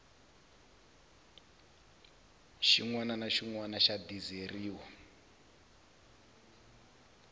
na xin wana xa dizeriwa